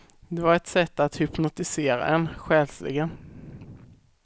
Det var ett sätt att hypnotisera en själsligen.